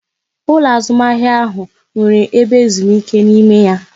Ụlọ azụmahịa ahụ nwere ebe ezumike n'ime ya